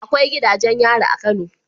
Akwai gidajen yari a kano